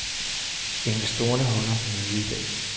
Investorerne holder møde i dag.